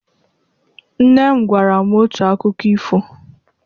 Nne m gwara m otu akụkọ ifo.